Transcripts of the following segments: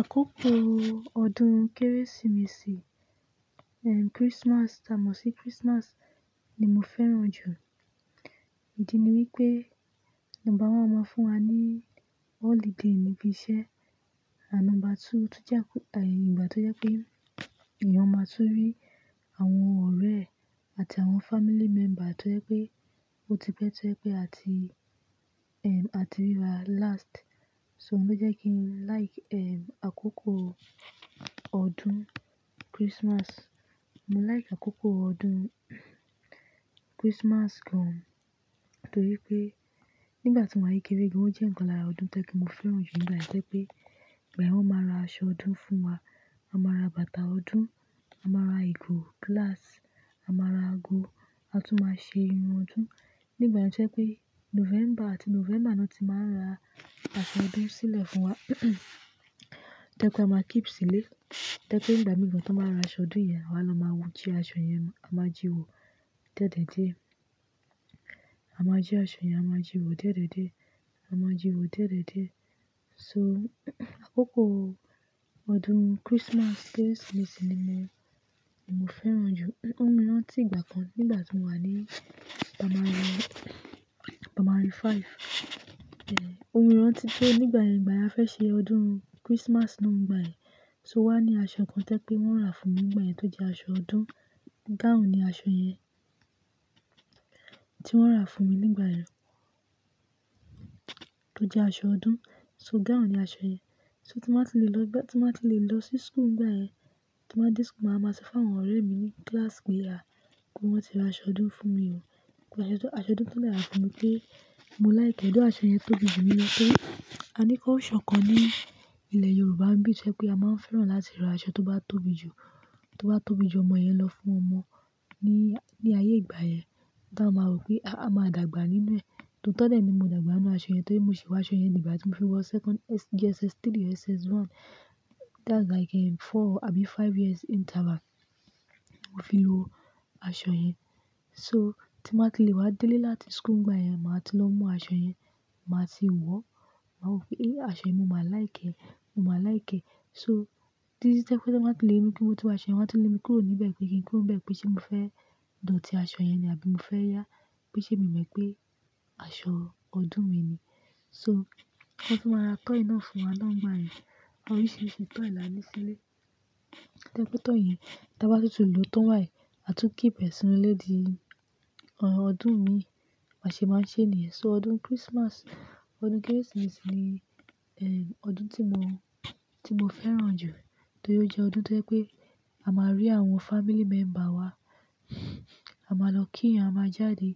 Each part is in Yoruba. Àkókò ọdún Kérésìmesì, ehm, Christmas, tà mo sì Christmas ni mo fẹ́ràn jù. Ìdí ni wípé, number one, wọ́n máa ń fún wa ní holiday níbi iṣẹ́. A nombá II, tójá kúta, ìgbà tó jẹ́ pé èèyàn máa tún rí àwọn ọ̀rẹ́ àti àwọn family member tó jẹ́ pé ó ti pẹ́ tó jẹ́ pé a ti, ehm, a ti rí wa last. So, òun ló jẹ́ kí n like, ehm, àkókò ọdún Christmas. Mo like àkókò ọdún Christmas gan, torí pé nígbà tí mo wà ni kekéré gan, ó jẹ́ ǹkan lára ọdún tó jẹ́ kí mo fẹ́ràn jù nígbà tí ẹ pé, bẹ́ẹ̀ wọ́n máa ra aṣọ ọdún fún wa. A máa ra bàtà ọdún, a máa ra ìgò, glass, a máa ra ago, a tún máa ṣe irun ọdún. Nígbà tó jẹ́ pé November àti November náà ti máa ra aṣọ ọdún sílẹ̀ fún wa tó jẹ́ pé a máa keep sílé, tó jẹ́ pé nígbà mìíràn tó máa ra aṣọ ọdún yẹn, àwa ló máa wo jí aṣọ yẹn, a máa jíwo dié dié dié a máa jí aṣọ yẹn, a máa jíwo dié dié dié, a máa jíwo dié dié dié so, àkókò ọdún Christmas, Kérésìmesì ni mo fẹ́ràn jù. Ó mu miran ti ìgbà kan nígbà tí mo wà ní primary, primary five. Eh, ó mu miran ti pé nígbà yen, ìgbà yen a fẹ́ ṣe ọdún Christmas náà nígbà ẹ́. So wá ní aṣọ kan tó jẹ́ pé wọ́n rà fún mi nígbà ẹ́ tó jẹ́ aṣọ ọdún. Gown ni aṣọ yẹn tí wọ́n rà fún mi nígbà ẹ́ tó jẹ́ aṣọ ọdún. So gown ni aṣọ yẹn. So tí mo bá ti lè lọ gbá, tí mo bá ti lè lọ sí school nígbà ẹ́, tí mo bá dé school, màá máa ṣe fún àwọn ọ̀rẹ́ mi ní class pé, "À, kí wọ́n ti ra aṣọ ọdún fún mi o." ìgbà yen, aṣọ ọdún tó dè rà fún mi pé mo like ẹ́. Ọ̀dọ̀ aṣọ yẹn tóbi jù mi lo torí. A ní kulsure kan ní ilẹ̀ Yorùbá bí i ṣe pé a máa ń fẹ́ràn láti ra aṣọ tó bá tóbi jù, tó bá tóbi jù ọmọ yẹn lọ fún ọmọ ní, ní ayé ìgbà yẹn. Kí a máa rò pé a máa dàgbà nínú ẹ̀. Tò tọ́ de ni pmo dàgbà nínú aṣọ yẹn, tó jẹ́ mo sì wọ aṣọ yẹn nígbà tí mo fi wọ second S-- JSS3, JSS1. That's like, ehm, four àbí five years interval. Mo fi lo aṣọ yẹn. So, tí mo bá ti lè wá délé láti school nígbà yẹn, màá ti lọ mú aṣọ yẹn, màá ti wọ̀. Màá rò pé, "Eh, aṣọ yìí, mo máa like ẹ́, mo máa like ẹ́." So, tí, tí tó jẹ́ pé tí wọ́n bá ti lè mi pé mo ti wọ aṣọ yẹn, wọ́n á ti lè mi kúrò níbẹ̀ pé kí n kúrò níbẹ̀ pé ṣé mo fẹ́ dòtì aṣọ yẹn ni àbí mo fẹ́ yà á. Pe ṣe mi mọ̀ pé aṣọ ọdún mi ni. So, wọ́n tún máa ra toy náà fún wa náà nígbà ẹ́. Àwọn oríṣiríṣi toy là á ní sílé. Tẹ́ kí toy yẹn, tí a bá tútù lò ó tán bayi, a tún keep ẹ sínú ilé di ọdún mi, baa ṣe máa ṣe ènìyàn. So ọdún Christmas, ọdún Kérésìmesì ni, ehm, ọdún tí mo, tí mo fẹ́ràn jù torí ó jẹ́ ọdún tó jẹ́ pé a máa rí àwọn family member wa. A máa lọ kí ìyàn, a máa jáde,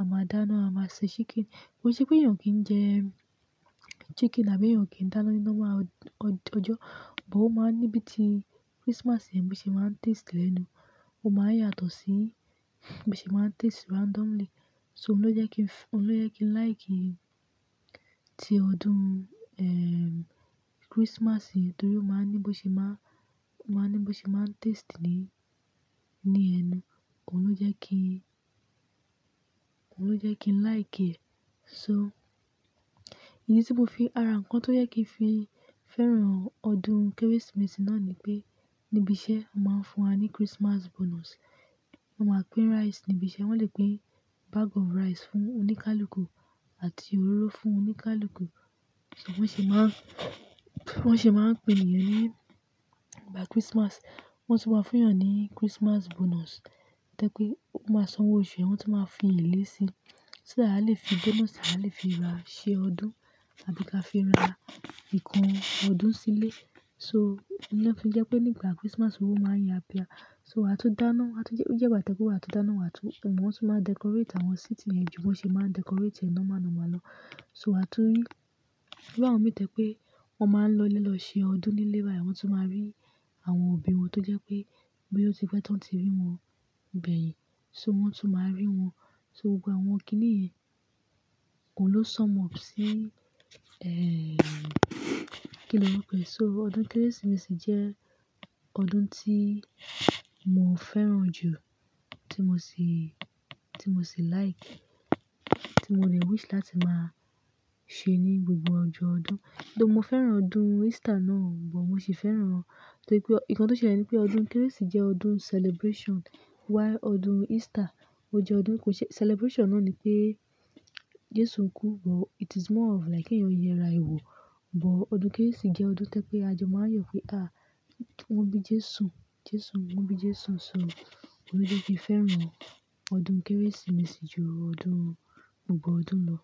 a máa dáná, a máa se chicken. Kò se pé èèyàn kì í jẹ chicken àbí èèyàn kì í dáná ní lọ́ma ọjọ́, but ó máa ń ní bí i ti Christmas yẹn bí i ṣe máa ń taste lẹ́nu. Ó máa ń yàtọ̀ sí bí i ṣe máa ń taste randomly. So, òun ló jẹ́ kí n f- òun ló jẹ́ kí n like ti ọdún, ehm, Christmas yìí torí ó máa ń ní bí i ṣe máa, máa ń ní bí i ṣe máa ń taste ni, ní ẹnu. Òun ló jẹ́ kí, òun ló jẹ́ kí n like ẹ. So, ìdí tí mo fi ara ǹkan tó jẹ́ kí n fi fẹ́ràn ọdún Kérésìmesì náà ni pé níbi iṣẹ́ a máa ń fún wa ní Christmas bonus. Wọ́n máa pín rice níbi iṣẹ́. Wọ́n lè pín bag of rice fún oníkálukú àti òróró fún oníkálukú. So wọ́n sì máa ń, wọ́n sì máa ń pín èèyàn ní, nígbà Christmas. Wọ́n sì máa ń fún èèyàn ní Christmas bonus. Tẹ́ jè ó máa sanwó oṣù e, wọ́n sì máa fi elè síi. So dah a lè fi bonus, a lè fi ra iṣẹ́ ọdún àbí ka fi ra ìkan ọdún sílé. So, ìdí náà fi jẹ́ pé nígbà Christmas owo máa ń yà pià so a tún dáná, a ti jẹ́, ó jẹ́ ìgbà tẹ́ pé wà á tún dáná, wà á tún-- wọ́n sì máa decorate àwọn síìtì yẹn ju wọ́n ṣe máa ń decorate ẹná mọ́ náà mọ́ lọ. So a tún rí bí àwọn mi tẹ́ pé wọ́n máa ń lọlé lọ ṣe ọdún nílé bààyẹn, wọ́n tún máa rí àwọn òbí wọn tó jẹ́ pé bo ya ó ti pẹ́ tán ti rí wọn gbeyin. So wọ́n tun máa rí wọn. So gbogbo àwọn kí nìyẹn, òun ló sum up sí, eh, kí ni wọ́n pè? So ọdún Kérésìmesì jẹ́ ọdún tí mo fẹ́ràn jù, tí mo sì, tí mo sì like, tí mo lè wish láti máa ṣe ní gbogbo ọjọ́ ọdún. Doh mo fẹ́ràn ọdún Easter náà, but mo sì fẹ́ràn. Torí pé ọ-- ìkan tó ṣe ní pé ọdún Kérésì jẹ́ ọdún celebration, while ọdún Easter ó jẹ́ ọdún kò ṣe-- celebration náà ni pé Jésù ń kú, but it is more of like kí èèyàn yera ìwò. But ọdún Kérésì jẹ́ ọdún tó jẹ́ pé a jọ máa yàn pé, "Ah, wọ́n bí Jésù, Jésù, wọ́n bí Jésù." So, òun ló jẹ́ kí n fẹ́ràn ọdún Kérésìmesì ju ọdún gbogbo ọdún lọ.